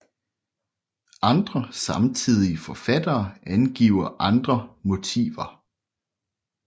Andre samtidige forfattere angiver andre motiver